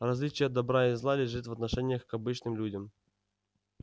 различие добра и зла лежит в отношениях к обычным людям